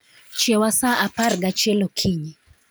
chiewa sa apar gachiel okinyi.